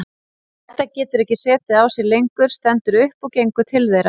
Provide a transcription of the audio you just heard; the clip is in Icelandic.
Edda getur ekki setið á sér lengur, stendur upp og gengur til þeirra.